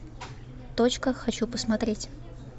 точка хочу посмотреть